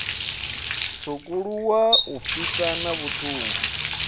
tswukuluwa u fhisa na vhuṱungu